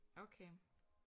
Okay